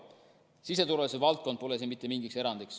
Siseturvalisuse valdkond pole siin mingi erand.